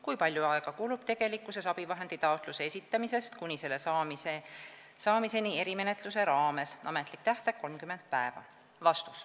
Kui palju aega kulub tegelikkuses abivahendi taotluse esitamisest kuni selle saamiseni erimenetluse raames ?